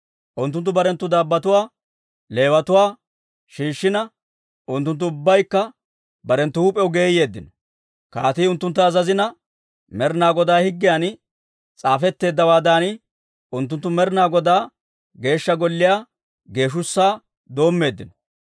Unttunttu barenttu dabbotuwaa, Leewatuwaa, shiishshina, unttunttu ubbaykka barenttu huup'iyaw geeyeeddino. Kaatii unttuntta azazina, Med'inaa Godaa higgiyan s'aafetteeddawaadan unttunttu Med'inaa Godaa Geeshsha Golliyaa geeshshussaa doommeeddino.